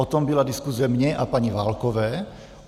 O tom byla diskuze mě a paní Válkové.